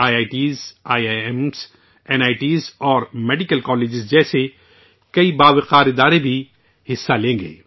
I I T, I I M, N I T اور medical college جیسے کئی نامور ادارے بھی اس میں حصہ لیں گے